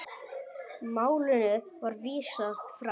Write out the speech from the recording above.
Málinu var vísað frá.